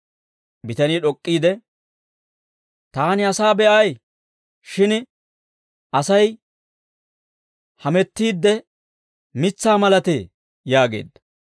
Bitanii d'ok'k'iide, «Taani asaa be'ay; shin Asay hamettiidde, mitsaa malatee» yaageedda.